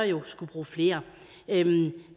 jo skulle bruge flere